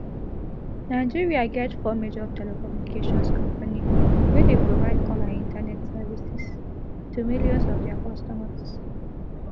nigeria get four major telecommunications company wey dey provide call and internet services to millions of dia customers